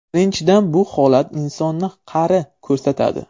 Birinchidan, bu holat insonni qari ko‘rsatadi.